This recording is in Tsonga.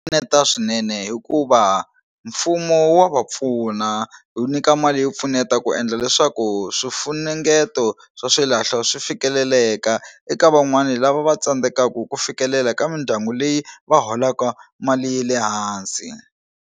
Pfuneta swinene hikuva mfumo wa va pfuna wu nyika mali yo pfuneta ku endla leswaku swifunengeto swa xilahlo swi fikeleleka eka van'wani lava va tsandzekaka ku fikelela ka mindyangu leyi va holaka mali ya le hansi.